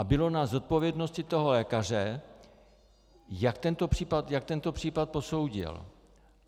A bylo na zodpovědnosti toho lékaře, jak tento případ posoudil.